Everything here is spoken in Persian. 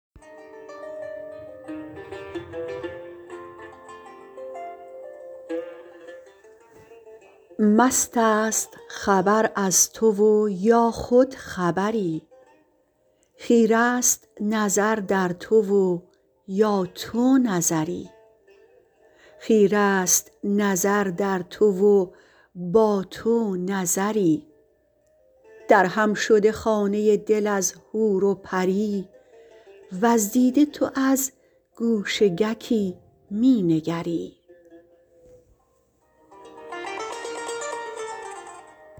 مست است خبر از تو و یا خود خبری خیره است نظر در تو و با تو نظری درهم شده خانه دل از حور و پری وز دیده تو از گو شککی می نگری